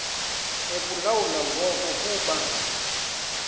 ekulawula ngoku kuba